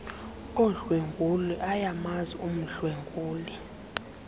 odlwengulo ayamazi umdlwenguli